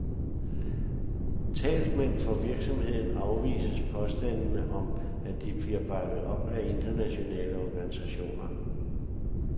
Talsmænd for virksomheden afviser påstandene om, at de bliver bakket op af internationale organisationer.